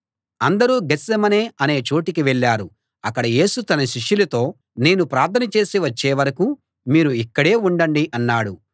అందరూ గేత్సేమనే అనే చోటికి వెళ్ళారు అక్కడ యేసు తన శిష్యులతో నేను ప్రార్థన చేసి వచ్చే వరకూ మీరు ఇక్కడే ఉండండి అన్నాడు